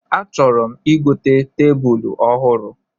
A chọrọ m igote tebulu ọhụrụ